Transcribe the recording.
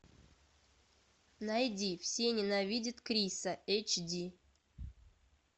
найди все ненавидят криса эйч ди